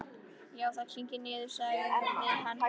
Já, það kyngir niður, sagði hann.